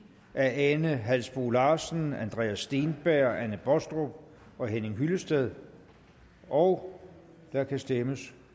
af ane halsboe larsen andreas steenberg anne baastrup og henning hyllested og der kan stemmes